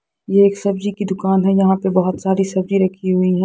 यह एक सब्जी की दुकान है यहां पर बहुत सारी सब्जी रखी हुई है।